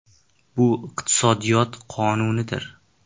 Bu iqtisodiyot qonunidir.